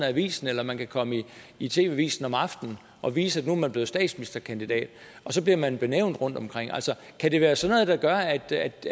avisen eller man kan komme i tv avisen om aftenen og vise at nu er man blevet statsministerkandidat og så bliver man nævnt rundtomkring altså kan det være sådan noget der gør at